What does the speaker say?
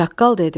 Çaqqal dedi: